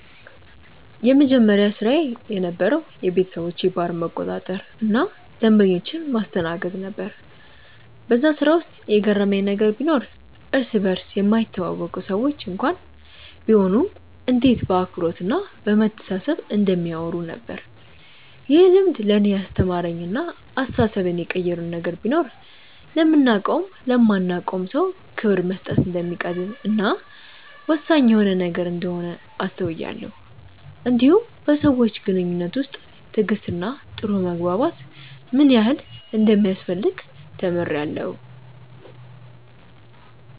የመጀመሪያ ስራዬ የነበረዉ የቤተሰቦቼን ባር መቆጣጠር እና ደንበኞችን ማስተናገድ ነበር በዛ ስራ ውስጥ የገረመኝ ነገር ቢኖር እርስ በርስ የማይተዋወቁ ሰዎች እንኳን ቢሆኑ እንዴት በአክብሮት እና በመተሳሰብ እንደሚያወሩ ነበር። ይህ ልምድ ለእኔ ያስተማረኝ እና አስተሳሰቤን የቀየረው ነገር ቢኖር ለምናቀውም ለማናቀውም ሰው ክብር መስጠት እንደሚቀድም እና ወሳኝ የሆነ ነገር እንደሆነ አስተውያለው እንዲሁም በሰዎች ግንኙነት ውስጥ ትዕግስት እና ጥሩ መግባባት ምን ያህል እንደሚያስፈልግ ተምሬአለሁ።